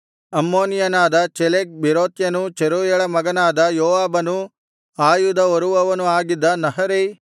ಅಮ್ಮೋನಿಯನಾದ ಚೆಲೆಕ್ ಬೇರೋತ್ಯನೂ ಚೆರೂಯಳ ಮಗನಾದ ಯೋವಾಬನೂ ಆಯುಧ ಹೊರುವವನು ಆಗಿದ್ದ ನಹರೈ